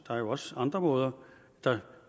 er jo også andre måder der